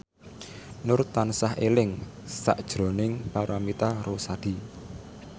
Nur tansah eling sakjroning Paramitha Rusady